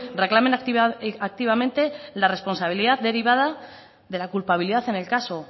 reclamen activamente la responsabilidad derivada de la culpabilidad en el caso